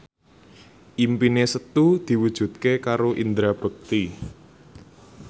impine Setu diwujudke karo Indra Bekti